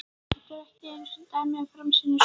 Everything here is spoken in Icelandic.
Þetta eru ekki einu dæmin um framsýni Skúla.